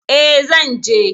E, zan je.